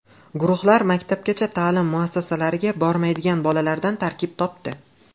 Guruhlar maktabgacha ta’lim muassasalariga bormaydigan bolalardan tarkib topdi.